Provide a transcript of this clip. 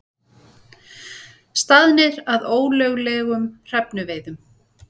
Staðnir að ólöglegum hrefnuveiðum